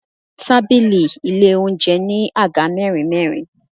Tábìlì ilé oúnjẹ ní Àga mẹ́rin mẹ́rin.